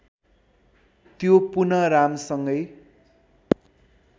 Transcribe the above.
त्यो पुनः रामसँगै